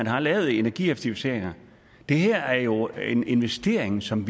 har lavet energieffektiviseringer det her er jo en investering som